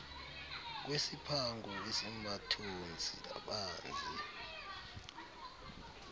kwesiphango esimathontsi abanzi